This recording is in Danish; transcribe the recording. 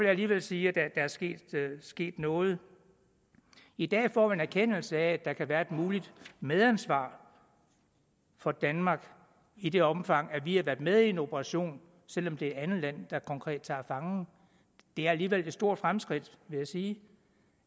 alligevel sige at der er sket sket noget i dag får vi en erkendelse af at der kan være et muligt medansvar for danmark i det omfang vi har været med i en operation selv om det er et andet land der konkret tager fangen det er alligevel et stort fremskridt vil jeg sige